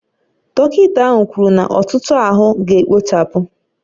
Dọkịta ahụ kwuru na etuto ahụ ga-akpochapụ